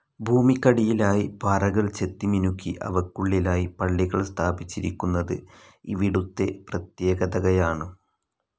ഭൂമിക്കടിയിലായി പാറകൾ ചെത്തിമിനുക്കി അവയ്ക്കുള്ളിലായി പള്ളികൾ സ്ഥാപിച്ചിരിക്കുന്നത് ഇവിടുത്തെ പ്രത്യേകതകയാണ്.